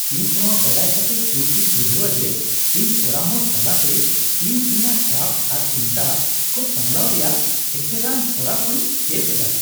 ᱤᱧ ᱱᱚᱣᱟ ᱵᱟᱰᱟᱭ ᱠᱟᱛᱮᱜ ᱥᱩᱠᱤᱧ ᱵᱩᱡᱷᱟᱹᱣᱟ ᱡᱮ ᱤᱧ ᱯᱚᱨᱟᱢᱚᱥ ᱛᱟᱞᱟᱛᱮ, ᱤᱧ ᱤᱧᱟᱹᱜ ᱪᱟᱯ ᱟᱨ ᱪᱤᱱᱛᱟᱹ ᱠᱚ ᱥᱟᱢᱲᱟᱣ ᱨᱮᱭᱟᱜ ᱮᱥᱮᱨᱟᱱ ᱦᱚᱨᱟ ᱠᱚᱧ ᱪᱮᱫ ᱮᱫᱟ ᱾